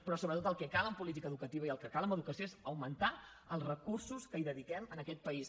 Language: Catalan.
però sobretot el que cal en política educativa i el que cal en educació és augmentar els recursos que hi dediquem en aquest país